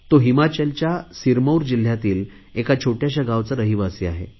तो हिमाचलच्या सिरमौर जिल्हयातील एका छोटयाशा गावचा रहिवासी आहे